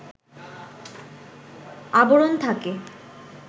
আবরণ থাকে